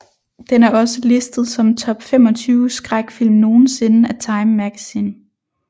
Den er også listet som Top 25 Skræk film nogensinde af Time magazine